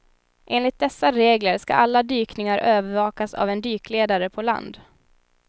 Enligt dessa regler ska alla dykningar övervakas av en dykledare på land.